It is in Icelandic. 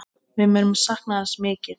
Við munum sakna hans mikið.